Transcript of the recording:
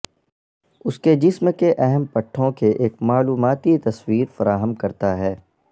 اس کے جسم کے اہم پٹھوں کے ایک معلوماتی تصویر فراہم کرتا ہے